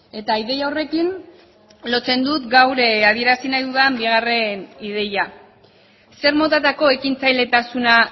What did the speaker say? eta ideia horrekin lotzen dut gaur adierazi nahi dudan bigarren ideia zer motatako ekintzailetasuna